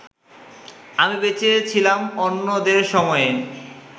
আমি বেঁচে ছিলাম অন্যদের সময়ে